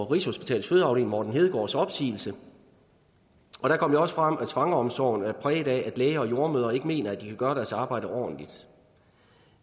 rigshospitalets fødeafdeling morten hedegaards opsigelse og der kom det også frem at svangreomsorgen er præget af at læger og jordemødre ikke mener at de kan gøre deres arbejde ordentligt